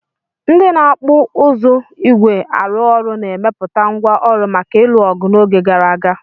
Ndị na-okpu uzu ígwè arụ ọrụ na-emepụta ngwá ọrụ maka ịlụ ọgụ n'oge gara aga.